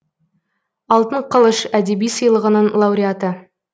алтын қылыш әдеби сыйлығының лауреаты